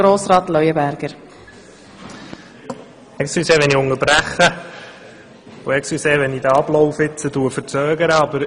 Entschuldigen Sie bitte, wenn ich unterbreche und den Ablauf verzögere.